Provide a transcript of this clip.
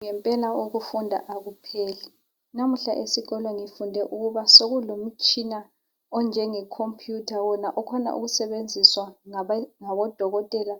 Ngempela ukufunda akupheli lamuhla esikolo ngifunde ukuba sokulo mtshina onjenge khompuyutha wona okhona ukusebenziswa ngabo dokotela